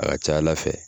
A ka ca ala fɛ